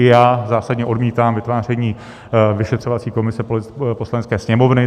I já zásadně odmítám vytváření vyšetřovací komise Poslanecké sněmovny.